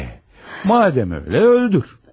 E, madem elə öldür.